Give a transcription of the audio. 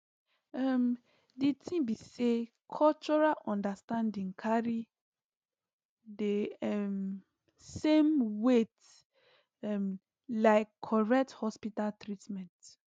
um di thing be saycultural understanding carry the um same weight um like correct hospital treatment